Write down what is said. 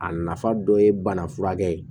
A nafa dɔ ye bana furakɛ ye